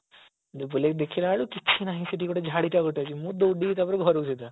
ବୁଲିକି ଦେଖିଲା ବେଳକୁ କିଛି ନାହିଁ ସେଠି ଝଡି ଟା ଗୋଟେ ସେଠି ଅଛି ମୁଁ ଦୌଡିଲି ତାପରେ ଘରକୁ ସିଧା